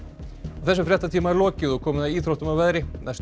þessum fréttatíma er lokið og komið að íþróttum og veðri næstu